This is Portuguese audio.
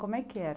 Como é que era?